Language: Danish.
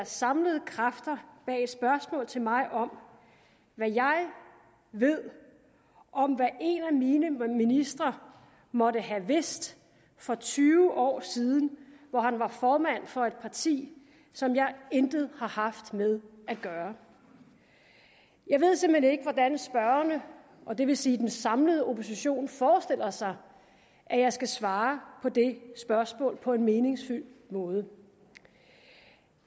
samlede kræfter bag et spørgsmål til mig om hvad jeg ved om hvad en af mine ministre måtte have vidst for tyve år siden hvor han var formand for et parti som jeg intet har haft med at gøre jeg ved simpelt hen ikke hvordan spørgerne og det vil sige den samlede opposition forestiller sig at jeg skal svare på det spørgsmål på en meningsfuld måde